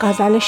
تا چند